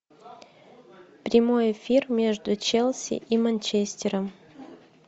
прямой эфир между челси и манчестером